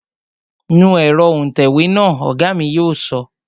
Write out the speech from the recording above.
Nu ẹ̀rọ òǹtẹ̀wé náà, Ọ̀gá mi yóò sọ